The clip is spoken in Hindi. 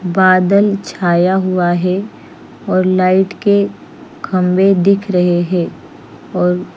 बादल छाया हुआ है और लाइट के खम्भे दिख रहे है और--